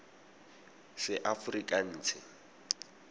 seaforikanse